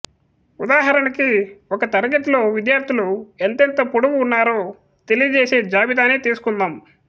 ఉదాహరణకి ఒక తరగతిలో విద్యార్థులు ఎంతెంత పొడుగు ఉన్నారో తెలియజేసే జాబితానే తీసుకుందాం